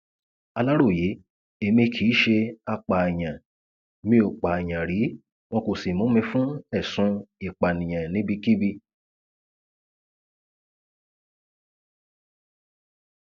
aláròye èmi kì í ṣe apààyàn mi ó pààyàn rí wọn kó sì mú mi fún ẹsùn ìpànìyàn níbikíbi